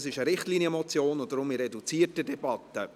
Es ist eine Richtlinienmotion, deshalb in reduzierter Debatte.